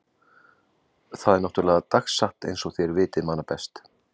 Það er náttúrlega dagsatt einsog þér vitið manna best.